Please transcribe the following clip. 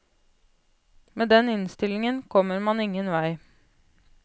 Med den innstillingen kommer man ingen vei.